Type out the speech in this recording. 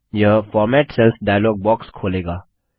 यह format cells dialog box खोलेगा